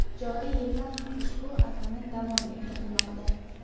Joriy yilda ham ushbu an’ana davom ettirilmoqda.